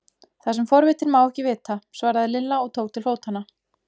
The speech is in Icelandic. Það sem forvitinn má ekki vita! svaraði Lilla og tók til fótanna.